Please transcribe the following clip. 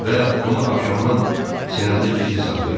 Və bunu axşamdan sinəmdə gizli saxlayıram.